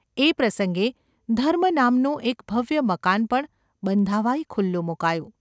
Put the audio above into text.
એ પ્રસંગે ‘ધર્મ’ નામનું એક ભવ્ય મકાન પણ બંધાવાઈ ખુલ્લું મુકાયું.